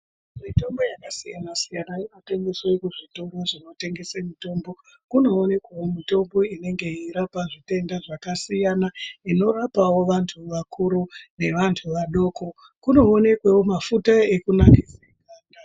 Mitombo yakasiyana siyana inonasirwa kuzvitoro zvinotengeswe mitombo kunewo mitombo inenge yeirapa zvitenda zvakasiyana inorapawo vantu vakuru nevantu vadoko kumoonekwawo mafuta ekunasira.